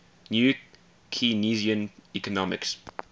new keynesian economics